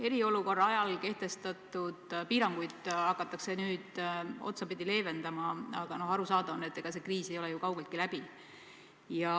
Eriolukorra ajal kehtestatud piiranguid hakatakse nüüd otsapidi leevendama, aga aru saada on, et ega kriis ei ole ju kaugeltki läbi.